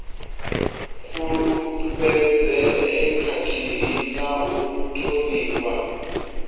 fulufhedzee khathihi na u thonifha